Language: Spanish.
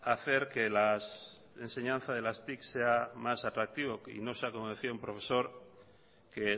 hacer que la enseñanza de las tics sea más atractivo y no sea como decía un profesor que